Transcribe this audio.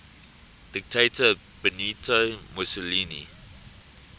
dictator benito mussolini